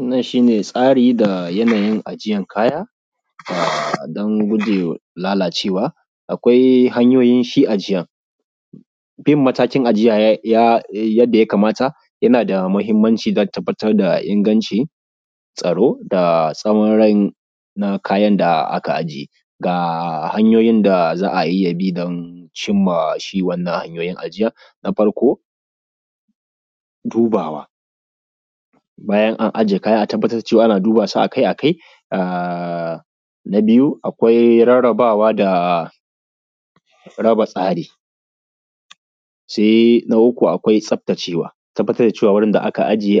Wannan shi ne tsari da yanayin ajiyan kaya don guje lalacewa. Akwai hanyoyin shi ajiyan, bin mataki ajiya yanda ya kamata yana da mahinmanci don tabbatar da inganci tsaro da tsawan rai na kayan da aka ijiye. Ga hanyoyin da za a bi don cinma wannan hanyoyin ajiya na farko dubawa, bayan an ajiye kaya, a tabbatar ana duba su akai-akai, na biyu akwai rarrabawa da kuma raba tsari, na uku akwai tsaftacewa. Tabbatar dacewa inda aka ije